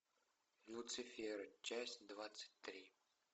люцифер часть двадцать три